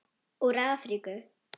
Úr Afríku!